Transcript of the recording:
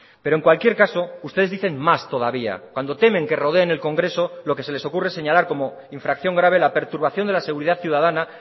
pero en cualquier caso ustedes dicen más todavía cuando temen que rodeen el congreso lo que se les ocurre es señalar como infracción grave la perturbación de la seguridad ciudadana